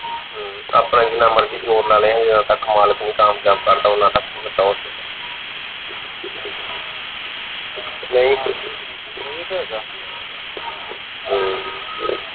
ਹਮ ਆਪਣਾ ਜਿੰਨਾ ਮਰਜੀ ਜ਼ੋਰ ਲਾ ਲੈ ਜਦੋਂ ਤੱਕ ਮਾਲਕ ਨਹੀਂ ਕਾਮਯਾਬ ਕਰਦਾ ਓਹਨਾ ਤਕ ਕੇ ਨਹੀਂ ਹਮ